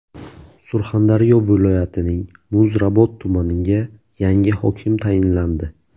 Surxondaryo viloyatining Muzrabot tumaniga yangi hokim tayinlandi.